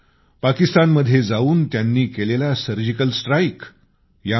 एक पाकिस्तानमध्ये जाऊन त्यांनी केलेला सर्जिकल स्ट्राईक